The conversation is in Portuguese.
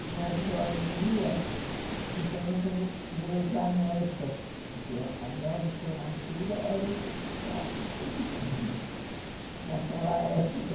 Tinha as joalherias, então nós fomos ver os anéis, para porque anel de formatura era o essencial naquela época.